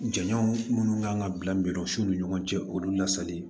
Jɛn minnu kan ka bila mirisɔn ni ɲɔgɔn cɛ olu lasali